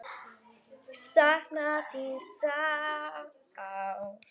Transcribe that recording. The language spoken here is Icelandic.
Ég sakna þín sárt.